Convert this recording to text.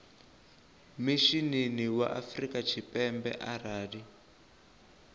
mishinini wa afrika tshipembe arali